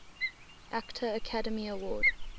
actor academy award